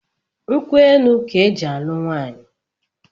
Nkwu elu ka e ji alu nwaanyị